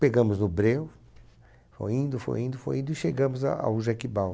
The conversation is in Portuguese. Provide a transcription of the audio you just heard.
Pegamos no breu, foi indo, foi indo, foi indo e chegamos a ao Jequibal.